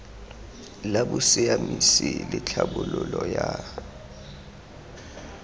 la bosiamisi le tlhabololo ya